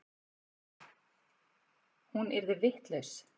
Hún yrði vitlaus.